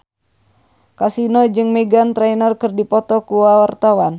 Kasino jeung Meghan Trainor keur dipoto ku wartawan